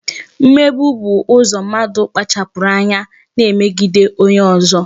Mmegbu bụ ụzọ mmadụ kpachapụrụ anya na-emegide onye ọzọ